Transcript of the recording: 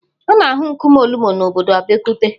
A na-ahụ nkume Olumo na obodo Abeokuta.